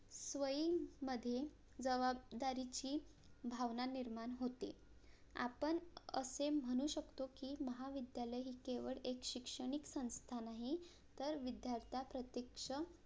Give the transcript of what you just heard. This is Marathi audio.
स्वयंमध्ये जवाबदारीची भावना निर्माण होते आपण असे म्हणू शकतो की महाविद्यालय ही केवळ एक शैक्षणिक संस्था नाही तर विद्यार्थ्यां प्रत्यक्ष